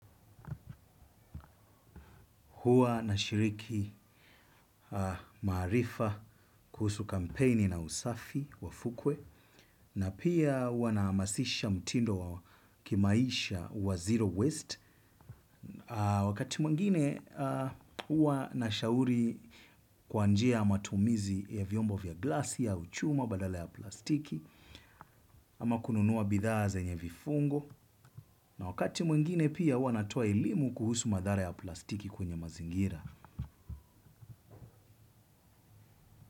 Huwa nashiriki maarifa kuhusu kampeni na usafi wa fukwe. Na pia huwa na nahamasisha mtindo wa kimaisha wa zero waste. Wakati mwingine huwa nashauri kwa njia ya matumizi ya vyombo vya glasi au chuma badala ya plastiki. Ama kununua bidhaa zenye vifungu. Na wakati mwingine pia huwa natoa elimu kuhusu madhara ya plastiki kwenye mazingira.